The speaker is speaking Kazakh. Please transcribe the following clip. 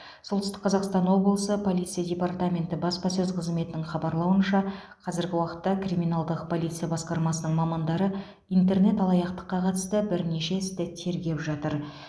солтүстік қазақстан облысы полиция департаменті баспасөз қызметінің хабарлауынша қазіргі уақытта криминалдық полиция басқармасының мамандары интернет алаяқтыққа қатысты бірнеше істі тергеп жатыр